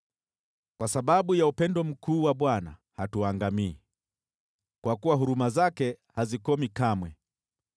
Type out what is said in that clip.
Kwa sababu ya upendo mkuu wa Bwana , hatuangamii, kwa kuwa huruma zake hazikomi kamwe.